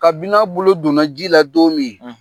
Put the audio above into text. Kain'a bolo donna ji la don min